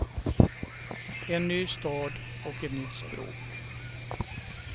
En ny stad och ett nytt språk.